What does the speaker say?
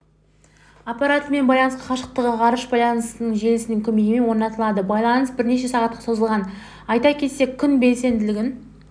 аппаратымен байланыс қашықтағы ғарыш байланысы желісінің көмегімен орнатылды байланыс бірнеше сағатқа созылған айта кетсек күн белсенділігін